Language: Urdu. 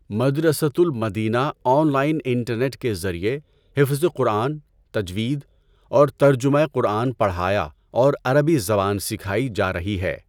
مدرسۃ المدینہ آن لائن انٹرنیٹ کے ذریعے حفظ قرآن، تجوید اورترجمہ قرآن پڑھایا اور عربی زبان سکھائی جا رہی ہے۔